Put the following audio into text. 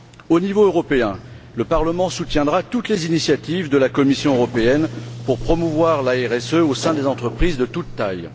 Au niveau européen, le Parlement soutiendra toutes les initiatives de la Commission européenne pour promouvoir la RSE au sein des entreprises de toute taille.